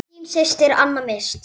Þín systir, Aníta Mist.